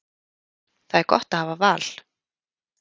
Það er gott að hafa val.